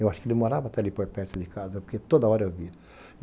Eu acho que ele morava até ali por perto de casa, porque toda hora eu via.